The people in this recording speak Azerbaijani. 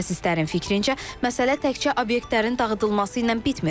Mütəxəssislərin fikrincə, məsələ təkcə obyektlərin dağıdılması ilə bitmir.